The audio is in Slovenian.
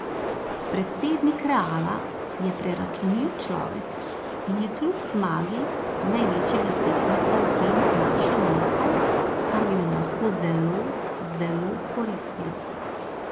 Predsednik Reala je preračunljiv človek, in je kljub zmagi največjega tekmeca v tem našel nekaj, kar bi mu lahko zelo, zelo koristilo.